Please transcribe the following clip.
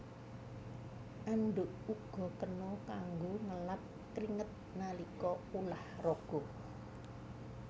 Andhuk uga kena kanggo ngelap kringet nalika ulah raga